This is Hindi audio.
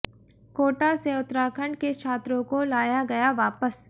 कोटा से उत्तराखंड के छात्रों को लाया गया वापस